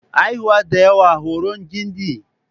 Haihuwa ɗaya horon gindi.